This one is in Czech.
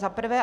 Za prvé.